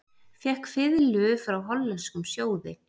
Fékk fiðlu frá hollenskum sjóði